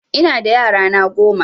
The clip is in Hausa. Ina da yara na goma